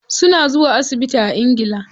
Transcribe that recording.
Suna zuwa asibiti a ingila.